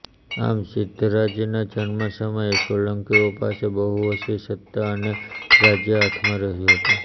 આમ સિદ્ધરાજના જન્મ સમયે સોલંકીઓ પાસે બહુ ઓછી સત્તા અને રાજ્ય હાથમાં રહ્યું હતું